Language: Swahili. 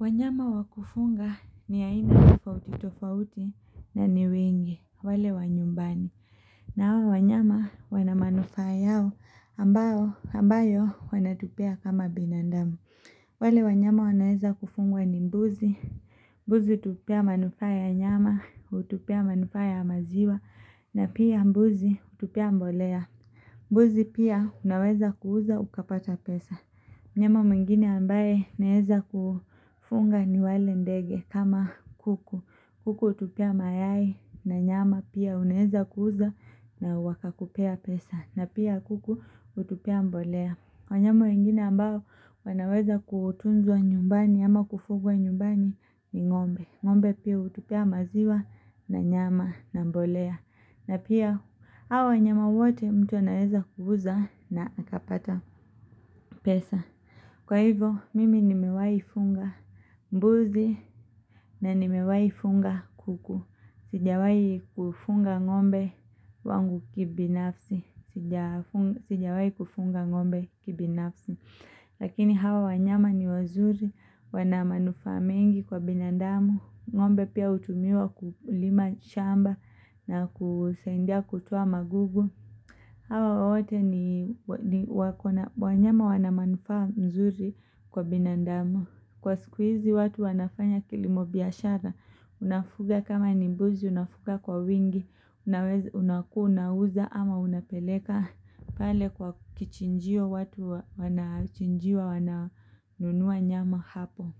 Wanyama wa kufunga ni aina tofauti tofauti na ni wengi, wale wanyumbani. Nao wanyama wana manufaa yao ambayo wanatupea kama binadamu. Wale wanyama wanaeza kufungwa ni mbuzi. Mbuzi hutupea manufaa ya nyama, hutupea manufaa ya maziwa, na pia mbuzi hutupea mbolea. Mbuzi pia unaweza kuuza ukapata pesa. Mnyama mwingine ambaye naweza kufunga ni wale ndege kama kuku. Kuku hutupea mayai na nyama pia unaeza kuuza na wakakupea pesa. Na pia kuku utupia mbolea. Wanyama wengine ambao wanaweza kutunzwa nyumbani ama kufugwa nyumbani ni ng'ombe. Ngombe pia utupia maziwa na nyama na mbolea. Na pia hawa wanyama wote mtu anaweza kuuza na utapata pesa. Kwa hivyo, mimi nimewaifunga mbuzi na nimewai funga kuku. Sijawai kufunga ng'ombe wangu kibinafsi. Sijawai kufunga ng'ombe kibinafsi. Lakini hawa wanyama ni wazuri, wana manufaa mengi kwa binandamu. Ng'ombe pia hutumiwa kulima shamba na kusaidia kutoa magugu. Hawa wote ni wanyama wana manufaa mzuri kwa binadamu. Kwa siku hizi watu wanafanya kilimobiashara. Unafuga kama ni mbuzi unafuga kwa wingi. Unaweza unakuwa unauza ama unapeleka pale kwa kichinjio watu wanachinjiwa wananunua nyama hapo.